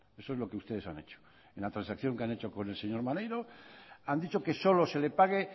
eso es lo que ustedes han hecho en la transacción que han hecho con el señor maneiro han dicho que solo se le pague